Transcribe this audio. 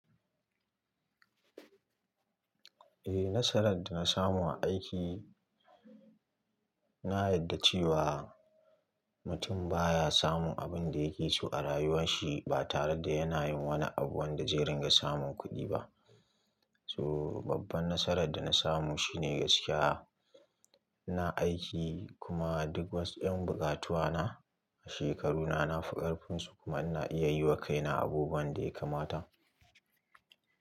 Eh, nasarar da na samu a aiki na yarda cewa mutum baya samun abin da yake so a rayuwarsa ba tare da yana yin wani abu wanda zai ringa samun kuɗi ba. So babban nasarar da na samu shine gaskiya. Ina aiki kuma duk wasu 'yan bukatuna a shekaruna na fikar finsu kuma ina iya yi wa kaina abubuwan da ya kamata.